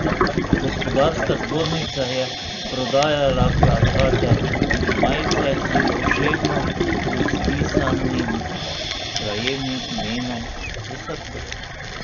Gospodarska zbornica je prodajala plakate in majice s poševno izpisanim krajevnim imenom v srcu.